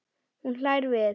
Hún hlær við.